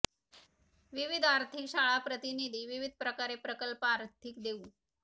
विविध आर्थिक शाळा प्रतिनिधी विविध प्रकारे प्रकल्प आर्थिक देऊ